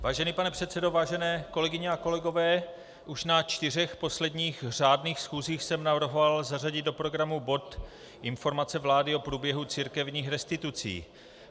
Vážený pane předsedo, vážené kolegyně a kolegové, už na čtyřech posledních řádných schůzích jsem navrhoval zařadit do programu bod informace vlády o průběhu církevních restitucí.